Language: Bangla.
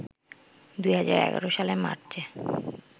২০১১ সালের মার্চে